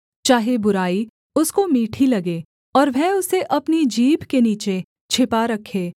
चाहे बुराई उसको मीठी लगे और वह उसे अपनी जीभ के नीचे छिपा रखे